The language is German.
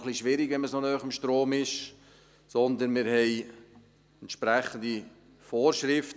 Es ist auch etwas schwierig, wenn man so nah am Strom ist, sondern wir haben entsprechende Vorschriften.